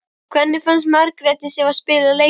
Hvernig fannst Margréti Sif að spila leikinn?